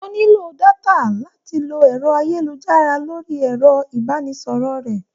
O nílò détà láti lọ ẹ̀rọ ayélujára lórí ẹ̀rọ-ìbánisọ̀rọ̀ rẹ̀.